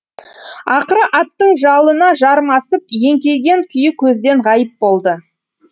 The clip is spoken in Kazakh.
ақыры аттың жалына жармасып еңкейген күйі көзден ғайып болды